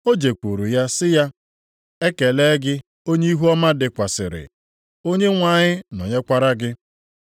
O jekwuru ya sị ya, “Ekele! Gị onye ihuọma dịkwasịrị. Onyenwe anyị nọnyekwara gị.”